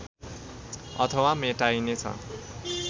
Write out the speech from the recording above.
अथवा मेटाइने छ